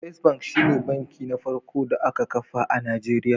First bank shine banki na farko da aka kafa a Najeriya